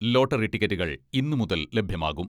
Lottery ടിക്കറ്റുകൾ ഇന്നുമുതൽ ലഭ്യമാകും.